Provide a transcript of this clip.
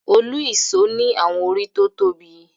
Òlu-ìsó ni àwọn orí tó tóbi.